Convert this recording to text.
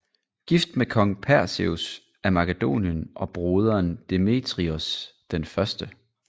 Gift med kong Perseus af Makedonien og broderen Demetrios 1